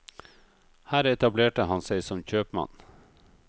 Her etablerte han seg som kjøpmann.